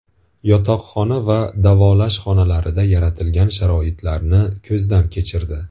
Yotoqxona va davolash xonalarida yaratilgan sharoitlarni ko‘zdan kechirdi.